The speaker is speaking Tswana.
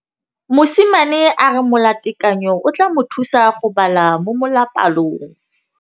Mosimane a re molatekanyô o tla mo thusa go bala mo molapalong.